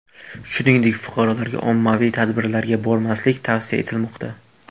Shuningdek, fuqarolarga ommaviy tadbirlarga bormaslik tavsiya etilmoqda .